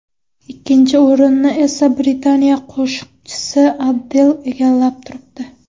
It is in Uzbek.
Ikkinchi o‘rinni esa Britaniya qo‘shiqchisi Adel egallab turibdi.